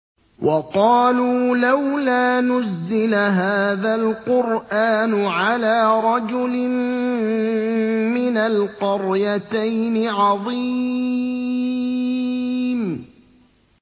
وَقَالُوا لَوْلَا نُزِّلَ هَٰذَا الْقُرْآنُ عَلَىٰ رَجُلٍ مِّنَ الْقَرْيَتَيْنِ عَظِيمٍ